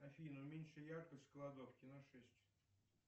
афина уменьши яркость в кладовке на шесть